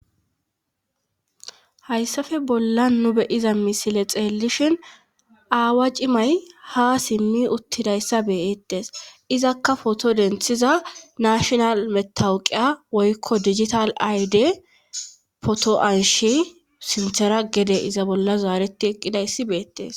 Hayssafe bolla nu beyiza misile xeellishhin aawa cimay ha simmi uttidayssa beyettes izakka poto denthiza nashonal metawuqiya woykko digital ayde potoanshi sinthera gede iza bolla zaareti eqqidayssi beettes.